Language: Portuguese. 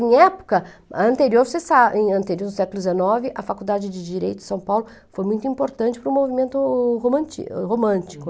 Em época, anterior você sabe em ante no século dezenove, a Faculdade de Direito de São Paulo foi muito importante para o movimento român romântico.